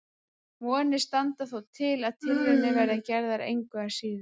Vonir standa þó til að tilraunir verði gerðar engu að síður.